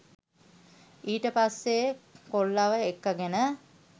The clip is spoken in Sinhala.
ඊට පස්සෙ කොල්ලව එක්කගෙන